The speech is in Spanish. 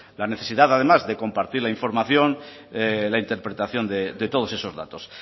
la necesidad además de compartir la información la interpretación de todos esos datos